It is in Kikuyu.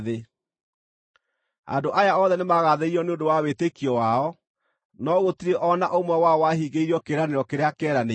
Andũ aya othe nĩmagathĩrĩirio nĩ ũndũ wa wĩtĩkio wao, no gũtirĩ o na ũmwe wao wahingĩirio kĩĩranĩro kĩrĩa kĩeranĩirwo.